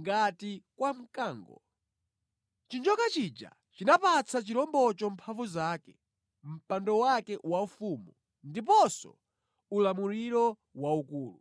ngati kwa mkango. Chinjoka chija chinapatsa chirombocho mphamvu zake, mpando wake waufumu ndiponso ulamuliro waukulu.